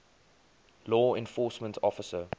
law enforcement officer